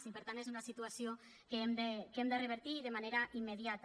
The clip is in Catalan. i per tant és una situació que hem de revertir de manera immediata